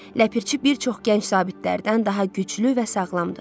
Ləpirçi bir çox gənc zabitlərdən daha güclü və sağlamdır.